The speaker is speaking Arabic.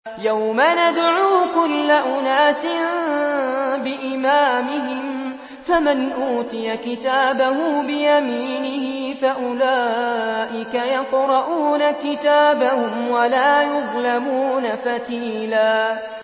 يَوْمَ نَدْعُو كُلَّ أُنَاسٍ بِإِمَامِهِمْ ۖ فَمَنْ أُوتِيَ كِتَابَهُ بِيَمِينِهِ فَأُولَٰئِكَ يَقْرَءُونَ كِتَابَهُمْ وَلَا يُظْلَمُونَ فَتِيلًا